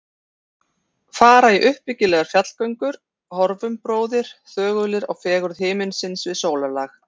Fara í uppbyggilegar fjallgöngur: horfum, bróðir, þögulir á fegurð himinsins við sólarlag.